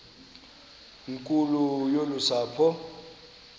nkulu yolu sapho